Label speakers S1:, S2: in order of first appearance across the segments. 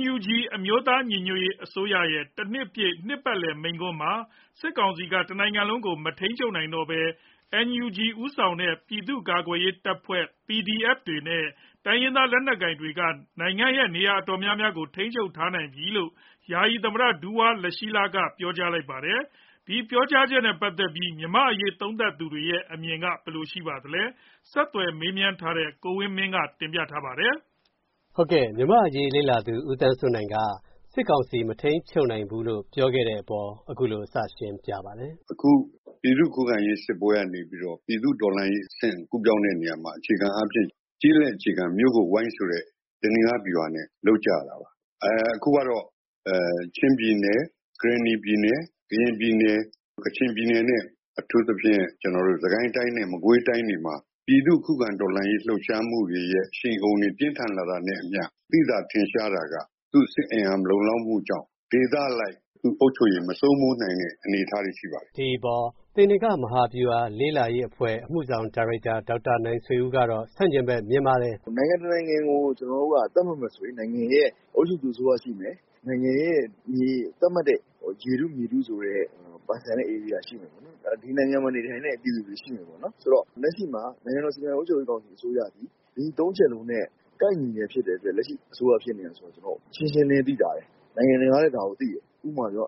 S1: NUG အမျိုးသားညီညွှတ်ရေးအစိုးရရဲ့ တနှစ်ပြည့် နှစ်ပတ်လည်မိန့်ခွန်းမှာ စစ်ကောင်စီက တနိုင်ငံလုံးကို မထိန်းချုပ်နိုင်တော့ဘဲ NUG ဦးဆောင်တဲ့ ပြည်သူ့ကာကွယ်ရေးတပ်ဖွဲ့တွေနဲ့ တိုင်းရင်းသားလက်နက်ကိုင်တွေက နိုင်ငံ့ နေရာတော်တော်များကို ထိန်းချုပ်ထားပြီလို့ ယာယီသမ္မတ ဒူဝါလရှီးလက ပြောကြားခဲ့ပါတယ်။ ဒီပြောကြားချက်နဲ့ ပတ်သက်ပြီး မြန်မာ့အရေး သုံးသပ်သူတွေရဲ့ အမြင်က ဘယ်လိုရှိပါသလဲ။ ဆက်သွယ်မေးမြန်းထားတဲ့ ကိုဝင်းမင်း တင်ပြပေးထားပါတယ်
S2: ။ မြန်မာ့အရေးလေ့လာသူ ဦးသန်းစိုးနိုင်က စစ်ကောင်စီ မထိန်းချုပ်နိုင်ဘူးလို့ ပြောခဲ့တဲ့အပေါ် အခုလို စရှင်းပြပါတယ်။
S3: “အခု ပြည်သူ့ခုခံရေးစစ်ပွဲကနေပြီးတော့ ပြည်သူ့တော်လှန်ရေးအဆင့် ကူးပြောင်းတဲ့နေရာမှာ အခြေခံအားဖြင့် ကျေးလက်အခြေခံ မြို့ကိုဝိုင်းဆိုတဲ့ သေနင်္ဂဗျူဟာနဲ့ လုပ်ကြရတာပါ။ အခုကတော့ ချင်းပြည်နယ်၊ ကရင်နီပြည်နယ်၊ ကရင်ပြည်နယ်၊ ကချင်ပြည်နယ်နဲ့ အထူးသဖြင့် စစ်ကိုင်းတိုင်းနဲ့ မကွေးတိုင်းတွေမှာ ပြည်သူ့ခုခံတော်လှန်ရေး လှုပ်ရှားမှုတွေရဲ့ အရှိန်အဟုန်တွေ ပြင်းထန်လာတာနဲ့အမျှ သိသာထင်ရှားတာက သူ့စစ်အင်အား မလုံလောက်မှုကြောင့် ဒေသအလိုက် အုပ်ချုပ်ရေး မစိုးမိုးနိုင်တဲ့ အနေအထားတွေ ရှိပါတယ်။
S2: ” ဒီအပေါ် သေနင်္ဂမဟာဗျူဟာ လေ့လာရေးအဖွဲ့ အမှုဆောင်ဒါရိုက်တာ ဒေါက်တာနိုင်ဆွေဦးကတော့ ဆန့်ကျင်ဘက် မြင်ပါတယ်။
S1: “နိုင်ငံတနိုင်ငံကို ကျနော်တို့က သတ်မှတ်မယ်ဆိုရင် နိုင်ငံရဲ့ အုပ်ချုပ်သူ အစိုးရရှိမယ်၊ နိုင်ငံရဲ့ သတ်မှတ်တဲ့ ရေထု မြေထုဆိုတဲ့ ပိုင်ဆိုင်တဲ့ဧရိယာရှိမယ်၊ ဒီနိုင်ငံမှာ နေထိုင်တဲ့ ပြည်သူတွေရှိမယ်၊ ဆိုတော့ လက်ရှိမှာ နိုင်ငံတော်စီမံအုပ်ချုပ်ရေးကောင်စီ အစိုးရသည် ဒီသုံးချက်လုံးနဲ့ ကိုက်ညီနေတာ ဖြစ်တဲ့အတွက် လက်ရှိအစိုးရဖြစ်နေတယ်ဆိုတာ ရှင်းရှင်းလင်းလင်း သိသာတယ်။ နိုင်ငံတကာကလည်း ဒါကိုသိတယ်။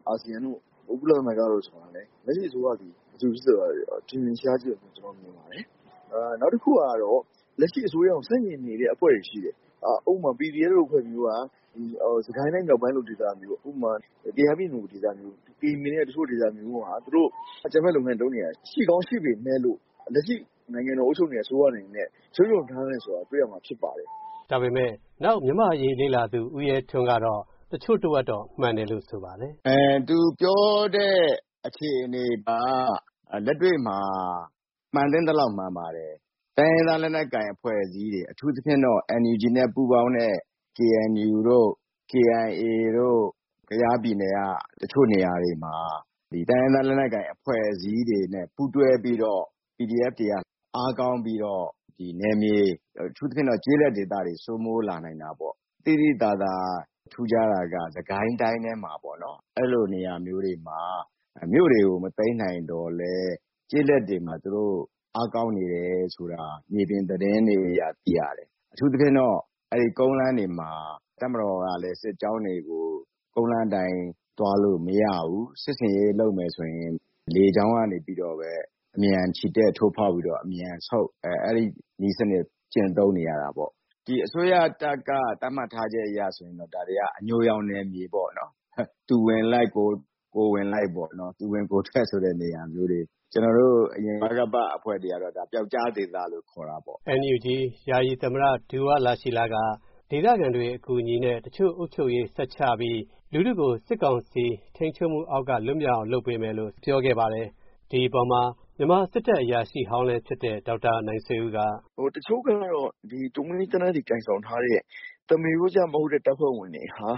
S1: အာဆီယံတို့ ကုလသမဂ္ဂတို့ ဆိုတာလည်း လက်ရှိအစိုးရသည် ဘယ်သူလဲဆိုတာ ထင်ထင်ရှားရှား ရှိတယ်လို့ ကျနော်မြင်ပါတယ်။ နောက်တခုကတော့ လက်ရှိအစိုးရကို ဆန့်ကျင်နေတဲ့ အဖွဲ့တွေ ရှိတယ်။ ဥပမာ PDF လို အဖွဲ့မျိုးက စစ်ကိုင်းတိုင်း မြောက်ပိုင်းလို ဒေသမျိုး၊ ဥပမာ ကယားပြည်နယ်လို ဒေသမျိုး၊ ကရင်ပြည်နယ်က တချို့ဒေသတွေမှာ သူတို့ အကြမ်းဖက် လုပ်ငန်းတွေ လုပ်နေတာ ရှိကောင်း ရှိပေမယ့်လို့ လက်ရှိ နိုင်ငံတော်ကို အုပ်ချုပ်နေတဲ့ အစိုးရအနေနဲ့ ထိန်းချုပ်ထားနိုင်တယ်ဆိုတာ တွေ့ရမှာဖြစ်ပါတယ်။
S2: ” ဒါပေမယ့် နောက် မြန်မာ့အရေးလေ့လာသူ ဦးရဲထွန်းကတော့ တချို့တဝက်တော့ မှန်တယ်လို့ ဆိုပါတယ်
S3: ။ “သူပြောတဲ့ အခြေအနေက လက်တွေ့မှာ မှန်သင့်သလောက် မှန်ပါတယ်။ တိုင်းရင်းသား လက်နက်ကိုင် အဖွဲ့အစည်းတွေ အထူးသဖြင့်တော့ NUG နဲ့ ပူးပေါင်းတဲ့ KNU တို့၊ KIA တို့ ကယားပြည်နယ်က တချို့နေရာတွေမှာ တိုင်းရင်းသား လက်နက်ကိုင် အဖွဲ့အစည်းတွေနဲ့ ပူးတွဲပြီးတော့ PDF တွေက အားကောင်းပြီးတော့ နယ်မြေ၊ အထူးသဖြင့်တော့ ကျေးလက်ဒေသတွေ စိုးမိုးလာနိုင်တာပေါ့။ သိသိသာသာ ထူးခြားတာက စစ်ကိုင်းတိုင်းထဲမှာပေါ့၊ အဲဒီလိုနေရာမျိုးတွေမှာ မြို့တွေကို မသိမ်းနိုင်သော်လည်း ကျေးလက်တွေမှာ သူတို့ အားကောင်းနေတယ်ဆိုတာ မြေပြင်သတင်းတွေအရ သိရတယ်။ အထူးသဖြင့်တော့ ကုန်းလမ်းတွေမှာ တပ်မတော်ကလည်း စစ်ကြောင်းတွေကို ကုန်းလမ်းအတိုင်း သွားလို့မရဘူး။ စစ်ဆင်ရေး လုပ်မယ်ဆိုရင် လေကြောင်းကနေပြီးတော့ပဲ အမြန်ချီတက် ထိုးဖောက်ပြီးတော့ အမြန်ဆုတ်၊ အဲဒီနည်းစနစ် ကျင့်သုံးနေရတာပေါ့။ အစိုးရတပ်က သတ်မှတ်ထားချက်အရ ဆိုရင်တော့ ဒါတွေက အညိုရောင်နယ်မြေပေါ့၊ သူဝင်လိုက် ကိုယ်ဝင်လိုက်ပေ့ါ၊ သူဝင် ကိုယ်ထွက်ဆိုတဲ့ နေရာမျိုးတွေ၊ ကျနော်တို့ အရင်ဗကပ အဖွဲ့တွေကတော့ ဒါ ပြောက်ကျားဒေသလို့ ခေါ်တာပေါ့
S2: ။” NUG ယာယီသမ္မတ ဒူဝါလရှီးလက ဒေသခံတွေ အကူအညီနဲ့ တချို့အုပ်ချုပ်ရေး ဆက်ချပြီး လူထုကို စစ်ကောင်စီထိန်းချုပ်မှုအောက်က လွတ်မြောက်အောင် လုပ်ပေးမယ်လို့ ပြောခဲ့ပါတယ်။ ဒီအပေါ်မှာ မြန်မာစစ်တပ် အရာရှိဟောင်းလည်း ဖြစ်တဲ့ ဒေါက်တာနိုင်ဆွေဦးက
S1: အခုလိုတုံ့ပြန်ပါတယ်။ “တချို့ကတော့ တူမီးသေနတ်တွေ ကိုင်ဆောင်ထားတဲ့ သမားရိုးကျမဟုတ်တဲ့ တပ်ဖွဲ့ဝင်တွေဟာ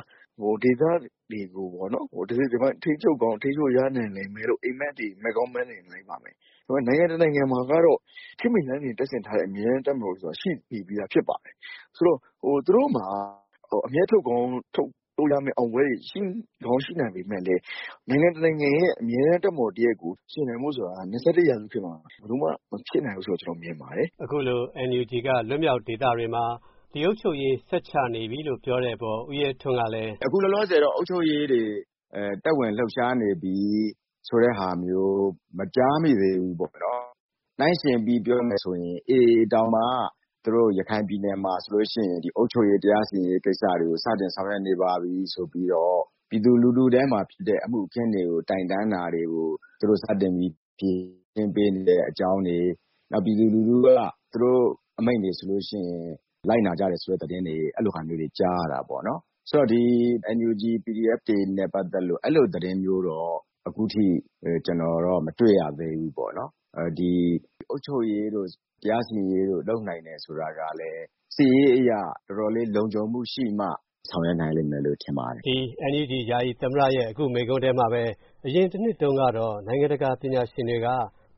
S1: ဒေသတွေကို တစိတ်တပိုင်း ထိန်းချုပ်ကောင်း ထိန်းချုပ်ရနိုင်လိမ့်မယ်လို့ အိပ်မက်တွေ မက်ကောင်း မက်နေနိုင်ပါတယ်။ နိုင်ငံတနိုင်ငံမှာကတော့ ခေတ်မီလက်နက် တပ်ဆင်ထားတဲ့ အမြဲတမ်း တပ်မတော်ဆိုတာ ရှိပြီးသား ဖြစ်ပါတယ်။ သူတို့မှာ အမြတ်ထုတ်ကောင်း ထုတ်ရမယ့် အောင်ပွဲတွေ ရှိကောင်း ရှိနိုင်ပေမယ့်လည်း နိုင်ငံတနိုင်ငံရဲ့ အမြဲတမ်းတပ်မတော်တရပ်ကို ယှဉ်နိုင်ဖို့ဆိုတာ ၂၁ ရာစုခေတ်မှာ ဘယ်လိုမှ မဖြစ်နိုင်ဘူးဆိုတာ ကျနော်မြင်ပါတယ်
S2: ။” အခုလို NUG က လွတ်မြောက်ဒေသတွေမှာ ဒီအုပ်ချုပ်ရေး ဆက်ချနေပြီလို့ ပြောတဲ့အပေါ် ဦးရဲထ
S3: ွန်းကလည်း သူ့အမြင်ကို အခုလိုပြောပါတယ်။ “အခုလောလောဆယ်တော့ အုပ်ချုပ်ရေးတွေ သက်ဝင်လှုပ်ရှားနေပြီ ဆိုတဲ့ဟာမျိုး မကြားမိသေးဘူး။ နှိုင်းယှဉ်ပြီး ပြောမယ်ဆိုရင် AA တောင်မှ သူတို့ ရခိုင်ပြည်နယ်မှာ အုပ်ချုပ်ရေး၊ တရားစီရင်ရေး ကိစ္စတွေ စတင်ဆောင်ရွက်နေပါပြီ ဆိုပြီးတော့ ပြည်သူလူထုထဲမှာဖြစ်တဲ့ အမှုအခင်းတွေကို တိုင်တန်းတာတွေကို သူတို့ စတင်ပြီး ဖြေရှင်းပေးနေတဲ့အကြောင်းတွေ၊ နောက် ပြည်သူလူထုက သူတို့အမိန့်တွေဆိုရင် လိုက်နာကြတယ်ဆိုတဲ့ သတင်းတွေ ကြားရတာပေါ့နော်။ ဆိုတော့ NUG PDF တွေနဲ့ ပတ်သက်လို့ အဲဒီလိုသတင်းမျိုးတော့ အခုထိ ကျနော်တော့ မတွေ့ရသေးဘူး။ အုပ်ချုပ်ရေးတို့ တရားစီရင်ရေးတို့ လုပ်နိုင်တယ် ဆိုတာကလည်း စစ်ရေးအရ တော်တော်လေး လုံခြုံမှုရှိမှ ဆောင်ရွက်နိုင်လိမ့်မယ်လို့ ထင်ပါတယ်
S2: ။” NUG ယာယီသမ္မတရဲ့ အခုမိန့်ခွန်းထဲမှာပဲ အရင်တနှစ်တုန်းကတော့ နိုင်ငံတကာ ပညာရှင်တွေက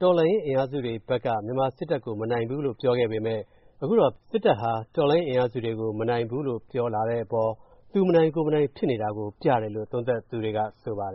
S2: တော်လှန်ရေး အင်အားစုတွေဘက်က မြန်မာစစ်တပ်ကို မနိုင်ဘူးလို့ ပြောခဲ့ပေမယ့် အခုတော့ စစ်တပ်ဟာ တော်လှန်ရေး အင်အားစုတွေကို မနိုင်ဘူးလို့ ပြောလာတဲ့အပေါ် သူမနိုင် ကိုယ်မနိုင် ဖြစ်နေတာကို ပြတယ်လို့ သုံးသပ်သူတွေက ဆိုပါတယ်